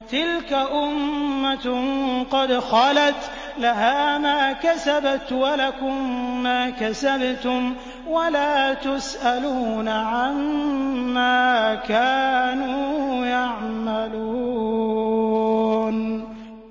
تِلْكَ أُمَّةٌ قَدْ خَلَتْ ۖ لَهَا مَا كَسَبَتْ وَلَكُم مَّا كَسَبْتُمْ ۖ وَلَا تُسْأَلُونَ عَمَّا كَانُوا يَعْمَلُونَ